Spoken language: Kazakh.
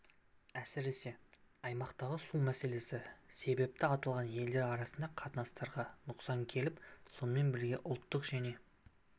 әсіресе аймақтағы су мәселесі себепті аталған елдер арасындағы қатынастарға нұқсан келіп сонымен бірге ұлттық және